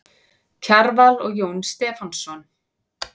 Kjarval og Jón Stefánsson.